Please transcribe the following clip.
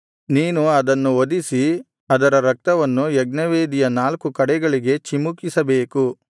ನೀನು ಅದನ್ನು ವಧಿಸಿ ಅದರ ರಕ್ತವನ್ನು ಯಜ್ಞವೇದಿಯ ನಾಲ್ಕು ಕಡೆಗಳಿಗೆ ಚಿಮುಕಿಸಬೇಕು